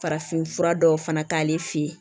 Farafinfura dɔw fana ta ale fɛ yen